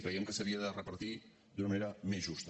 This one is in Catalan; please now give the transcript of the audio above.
crèiem que s’havia de repartir d’una manera més justa